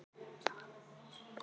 Stóð sig mjög vel.